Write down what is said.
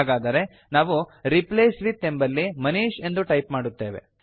ಹಾಗಾದರೆ ನಾವು replace with ಎಂಬಲ್ಲಿ ಮನೀಶ್ ಎಂದು ಟೈಪ್ ಮಾಡುತ್ತೇವೆ